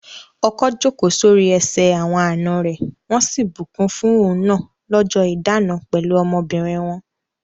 Ọkọ jókòó sórí ẹsẹ̀ àwọn àna rẹ̀ wọ́n sì bùkún fún òun náà lọ́jọ́ ìdána pẹ̀lú ọmọbìnrin wọn.